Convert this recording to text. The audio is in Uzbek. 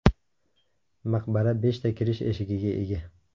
Maqbara beshta kirish eshigiga ega.